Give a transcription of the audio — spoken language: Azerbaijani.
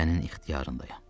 Sənin ixtiyarındayam.